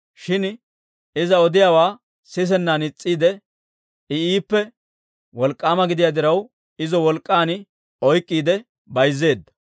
Shin iza odiyaawaa sisennan is's'eedda. I iippe wolk'k'aama gidiyaa diraw, izo wolk'k'an oyk'k'iide bayzzeedda.